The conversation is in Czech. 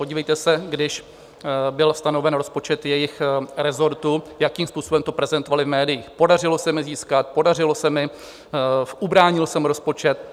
Podívejte se, když byl stanoven rozpočet jejich resortu, jakým způsobem to prezentovali v médiích - podařilo se mi získat, podařilo se mi, ubránil jsem rozpočet.